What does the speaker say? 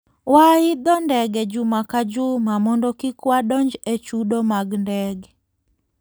Waidho ndege juma ka juma mondo kik wadonj e chudo mag ndege.